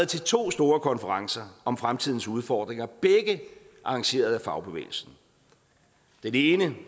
til to store konferencer om fremtidens udfordringer begge arrangeret af fagbevægelsen den ene